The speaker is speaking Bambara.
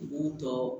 U b'u tɔ